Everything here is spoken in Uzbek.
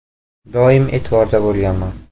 Doim e’tiborda bo‘lganman.